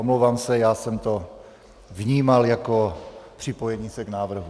Omlouvám se, já jsem to vnímal jako připojení se k návrhu.